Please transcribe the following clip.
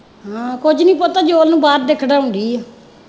ਹਮ ਕੁੱਝ ਨਹੀਂ ਪੁੱਤ ਨੂੰ ਬਾਹਰ ਖਿਡਾਉਣ ਦੀ ਹੈ।